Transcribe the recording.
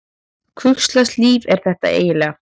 Hvurslags líf er þetta eiginlega?